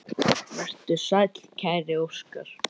Vertu sæll, kæri Óskar.